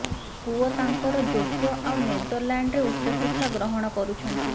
ପୁଅ ତାଙ୍କରେ ଯୋଗ୍ୟ ଆଉ ନେଦରଲାଣ୍ଡରେ ଉଚ୍ଚଶିକ୍ଷା ଗ୍ରହଣ କରୁଛନ୍ତି